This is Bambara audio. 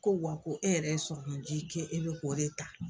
Ko wa ko e yɛrɛ sɔrɔmunji kɛ e bɛ k'o de ta.